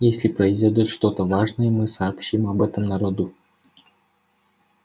если произойдёт что-то важное мы сообщим об этом народу